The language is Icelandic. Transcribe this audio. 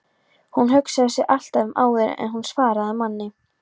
Hún hugsaði sig alltaf um áður en hún svaraði manni.